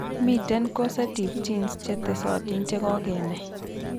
Miten causative genes che tesotin che kogenai.